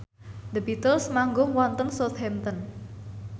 The Beatles manggung wonten Southampton